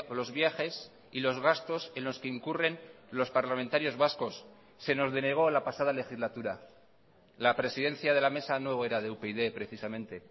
los viajes y los gastos en los que incurren los parlamentarios vascos se nos denegó la pasada legislatura la presidencia de la mesa no era de upyd precisamente